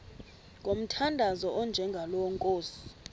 ngomthandazo onjengalo nkosi